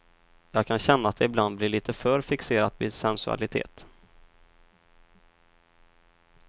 Jag kan känna att det ibland blir lite för fixerat vid sensualitet.